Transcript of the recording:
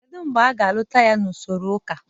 Kedu mgbe ị ga-alụta ya n'usoro ụka?